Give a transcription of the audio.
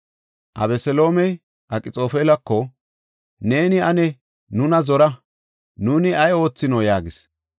Abeseloomey Akxoofelako, “Neeni ane nuna zora; nuuni ay oothino?” yaagis.